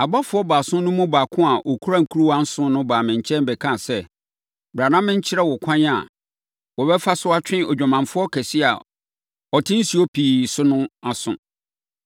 Abɔfoɔ baason no mu baako a ɔkura nkuruwa nson no baa me nkyɛn bɛkaa sɛ, “Bra na menkyerɛ wo kwan a wɔbɛfa so atwe odwamanfoɔ kɛseɛ a ɔte nsuo pii so no aso.